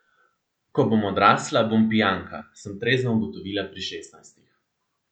Ko bom odrasla, bom pijanka, sem trezno ugotovila pri šestnajstih.